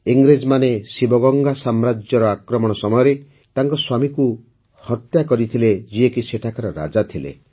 ଇଂରେଜମାନେ ଶିବଗଙ୍ଗା ସାମ୍ରାଜ୍ୟର ଆକ୍ରମଣ ସମୟରେ ତାଙ୍କ ସ୍ୱାମୀଙ୍କୁ ହତ୍ୟା କରିଥିଲେ ଯିଏକି ସେଠାକାର ରାଜା ଥିଲେ